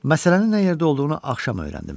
Məsələnin nə yerdə olduğunu axşam öyrəndim.